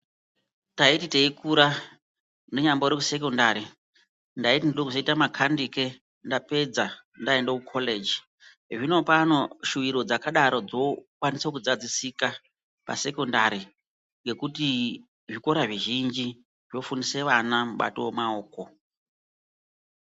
Taiti teikura ndinyambori kusekondari, ndaiti ndoda kuzoita makanike ndapedza ndaenda kukoreji. Zvinopano shuwiro dzakadaro dzokwanisa kudzadzisika pasekondari ngekuti zvikora zvizhinji zvofundisa vana mubato wemaoko.